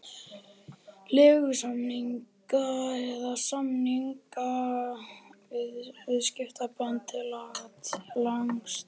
leigusamninga eða samninga um viðskiptasambönd til langs tíma.